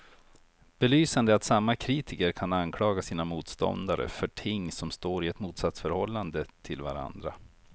Belysande är att samma kritiker kan anklaga sina motståndare för ting som står i ett motsatsförhållande till varandra.